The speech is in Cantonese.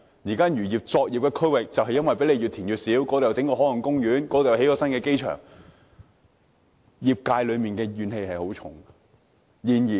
如今漁業的作業區域被填海填得越來越小，這裏有海岸公園，那裏又有新機場，業界有很大怨氣。